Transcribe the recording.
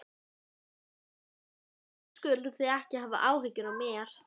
Hrund Þórsdóttir: Hver er ykkar ímynd af þessu efni?